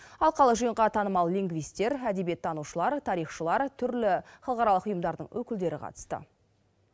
алқалы жиынға танымал лингвистер әдебиеттанушылар тарихшылар түрлі халықаралық ұйымдардың өкілдері қатысты